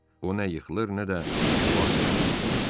O nə yıxılır, nə də müvazənətini itirirdi.